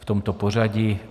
V tomto pořadí.